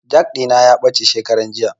Jak ɗina ya ɓace shekaran juya